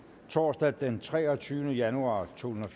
torsdag den treogtyvende januar totusinde